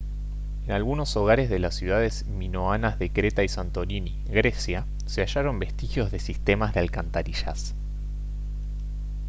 en algunos hogares de las ciudades minoanas de creta y santorini grecia se hallaron vestigios de sistemas de alcantarillas